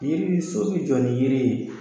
Yiri so bɛ jɔ ni yiri ye.